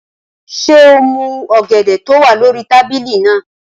Ṣé o mú ọ̀gẹ̀dẹ̀ tó wà lórí tábìlì náà?